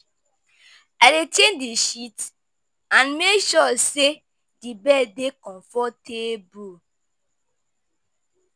I dey change di sheets and make sure say di bed dey comfortable.